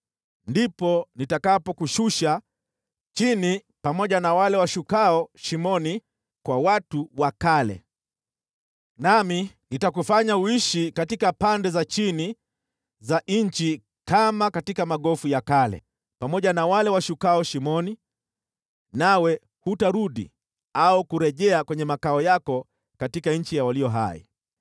ndipo nitakapokushusha chini pamoja na wale washukao shimoni, kwa watu wa kale, nami nitakufanya uishi katika pande za chini za nchi kama katika magofu ya kale, pamoja na wale washukao shimoni, nawe hutarudi au kurejea kwenye makao yako katika nchi ya walio hai.